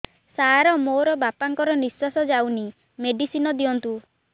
ସାର ମୋର ବାପା ଙ୍କର ନିଃଶ୍ବାସ ଯାଉନି ମେଡିସିନ ଦିଅନ୍ତୁ